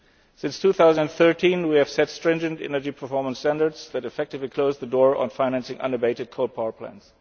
Since 2013, we have set stringent energy performance standards that effectively close the door on financing unabated coal power plants.